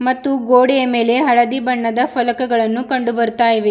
ಮತ್ತು ಗೋಡೆಯ ಮೇಲೆ ಹಳದಿ ಬಣ್ಣದ ಫಲಕಗಳನ್ನು ಕಂಡು ಬರ್ತಾ ಇವೆ.